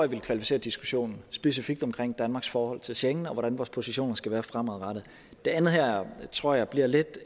ville kvalificere diskussionen specifikt om danmarks forhold til schengen og hvordan vores positioner skal være fremadrettet det andet her tror jeg bliver lidt